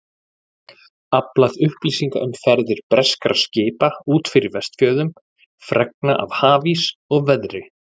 Aflað upplýsinga um ferðir breskra skipa út fyrir Vestfjörðum, fregna af hafís og veðri.